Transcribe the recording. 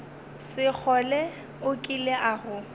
sekgole o kile a go